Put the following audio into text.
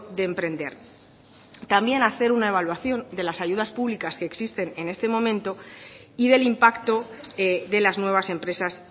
de emprender también hacer una evaluación de las ayudas públicas que existen en este momento y del impacto de las nuevas empresas